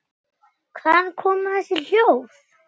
Hvaðan koma þessi hljóð?